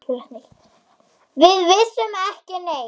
Við vissum ekki neitt.